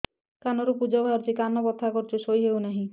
କାନ ରୁ ପୂଜ ବାହାରୁଛି କାନ ବଥା କରୁଛି ଶୋଇ ହେଉନାହିଁ